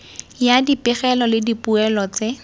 ya dipegelo le dipoelo tse